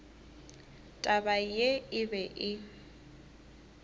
taba ye e be e